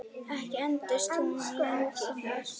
Ekki entist hún lengi þar.